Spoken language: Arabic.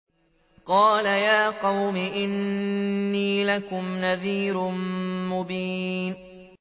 قَالَ يَا قَوْمِ إِنِّي لَكُمْ نَذِيرٌ مُّبِينٌ